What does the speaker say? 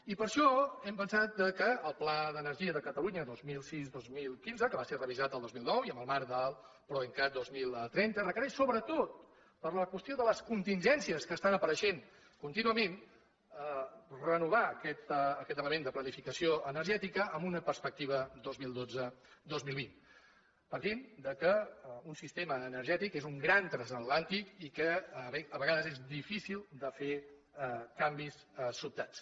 i per això hem pensat que el pla d’energia de catalunya dos mil sis dos mil quinze que va ser revisat el dos mil nou i en el marc del proencat dos mil trenta requereix sobretot per a la qüestió de les contingències que estan apareixent contínuament renovar aquest element de planificació energètica amb una perspectiva dos mil dotze dos mil vint partint del fet que un sistema energètic és un gran transatlàntic i que a vegades és difícil de fer canvis sobtats